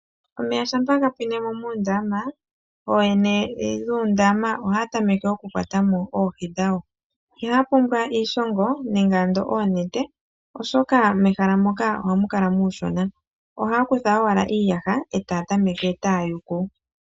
Omeya shampa gapwinemo moondama ooyene yoondama ohaa tameke oku kwatamo oohi dhawo, iihaa pumbwa iishongo nenge ando oonete oshoka mehala moka ohamu kala muushona ohaa kutha owala iiyaha itaa tameke taa yuku.